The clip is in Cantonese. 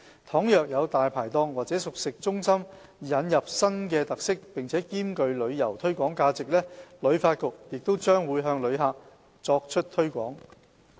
倘若有"大牌檔"或熟食中心引入新的特色並兼具旅遊推廣價值，旅發局將會向旅客作出推廣。